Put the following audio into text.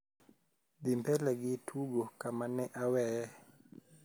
dhi mbele gi tugo kama ne aweye